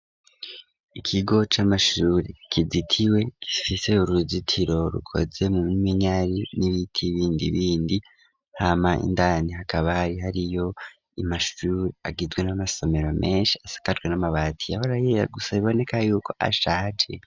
Ikigo c'amashuri kizitiwe gifise uruzitiro rukoze mu minyari n'ibiti bindi bindi, hama indani hakaba hariyo amashuri agizwe n'amasomero menshi asakajwe n'amabati yahora yera gusa biboneka yuko ashaje.